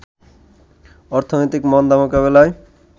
অর্থনৈতিক মন্দা মোকাবেলায়